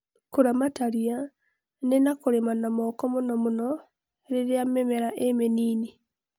Kũramata ria nĩ na kũlĩma na moko mũno mũno rĩrĩa mĩmela ĩ mĩnini